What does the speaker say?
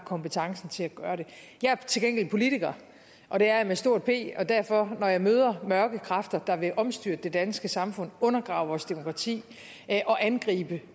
kompetencen til at gøre det jeg er til gengæld politiker og det er jeg med stort p og derfor når jeg møder mørke kræfter der vil omstyrte det danske samfund undergrave vores demokrati og angribe